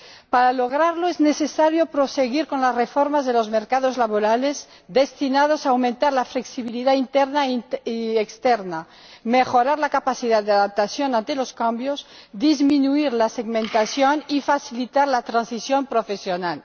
Para lograrlo es necesario proseguir con las reformas de los mercados laborales destinadas a aumentar la flexibilidad interna y externa, mejorar la capacidad de adaptación ante los cambios, disminuir la segmentación y facilitar la transición profesional.